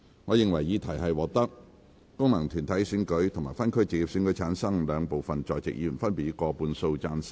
我認為議題獲得經由功能團體選舉產生及分區直接選舉產生的兩部分在席議員，分別以過半數贊成。